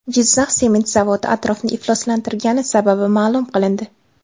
Jizzax sement zavodi atrofni ifloslantirgani sababi ma’lum qilindi.